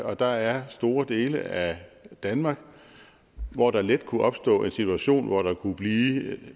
og der er store dele af danmark hvor der let kunne opstå en situation hvor der kunne blive